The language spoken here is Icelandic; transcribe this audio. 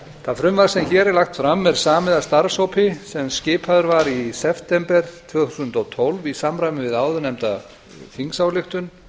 það frumvarp sem hér er lagt fram er samið af starfshópi sem skipaður var í september tvö þúsund og tólf í samræmi við áðurnefnda þingsályktun